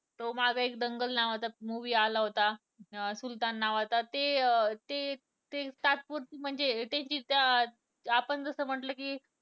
तो मागं एक दंगल नावाचा movie आला होता सुलतान नावाचा ते ते तात्पुरते म्हणजे त्याचे आपण जसे म्हंटले कि